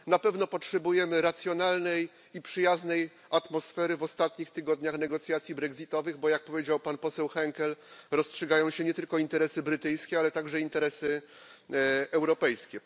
Na pewno potrzebujemy racjonalnej i przyjaznej atmosfery w ostatnich tygodniach negocjacji brexitowych, bo jak powiedział pan poseł Henkel rozstrzygają się nie tylko interesy brytyjskie, ale także interesy europejskie.